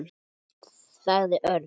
sagði Örn.